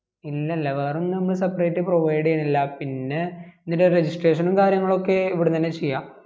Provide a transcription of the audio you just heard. ഇല്ല ഇല്ലാ വേറെ ഒന്നും നമ്മള് separate provide ചെയ്യുന്നില്ല പിന്നെ ഇതിൻ്റെ registration നും കാര്യങ്ങളും ഒക്കെ ഇവിടുന്ന് തന്നാ ചെയ്യ